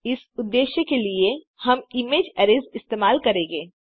इस उद्देश्य के लिए हम इमेज अरैज़ इस्तेमाल करेंगे